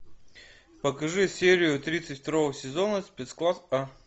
покажи серию тридцать второго сезона спецкласс а